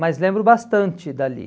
Mas lembro bastante dali.